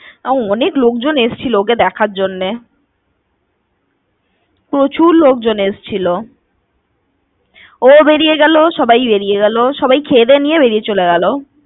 অনেক লোকজন এসেছিলো ওকে দেখার জন্যে। প্রচুর লোকজন এসেছিলো। ও ও বেড়িয়ে গেলো, সবাই বেড়িয়ে গেলো। সবাই খেয়ে দিয়ে নিয়ে বেড়িয়ে চলে গেলো।